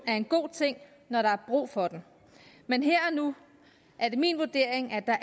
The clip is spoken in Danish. er en god ting når der er brug for den men her og nu er det min vurdering at der